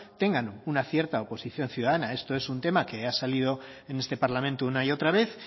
tengan una cierta oposición ciudadana esto es un tema que ha salido en este parlamento una y otra vez